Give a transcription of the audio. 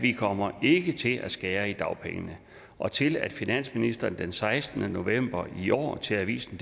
vi kommer ikke til at skære i dagpengene og til at finansministeren den sekstende november i år til avisen